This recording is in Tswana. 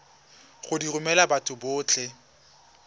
go di romela batho botlhe